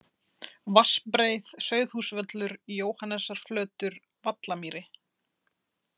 Vatnsbreið, Sauðhússvöllur, Jóhannesarflötur, Vallarmýri